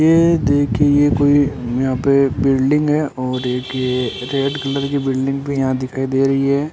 ये देखिए ये कोई यहां पे बिल्डिंग है और एक ये रेड कलर की बिल्डिंग भी यहां दिखाई दे रही है।